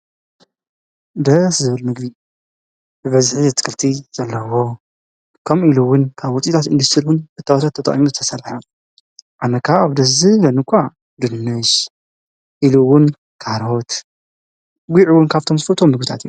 ደስ ዝብል ምግቢ ብበዝሒ ኣትክልቲ ዘለዎ ከምኢሉ እውን ካብ ሆቴላት ሚኒስተር እውን እታወታት ተጠቂሙ ዝተሰረሐ ኣነ ከዓ ደስ ዝብለኒ እኳ ድንሽ ኢሉ እውን ካሮት ኢሉ እውን ጒዕ ካብቶም ዝፈትዎም ምግብታት